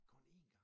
Kun én gang?